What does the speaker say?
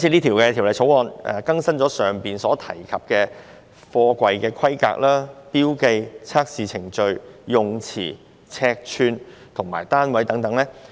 《條例草案》建議更新剛才提及的貨櫃規格、標記、測試程序、詞彙、尺寸和單位等。